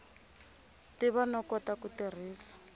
tiva no kota ku tirhisa